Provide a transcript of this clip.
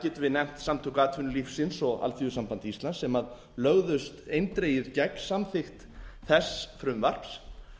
við nefnt samtök atvinnulífsins og alþýðusamband íslands sem lögðust eindregið gegn samþykkt þess frumvarps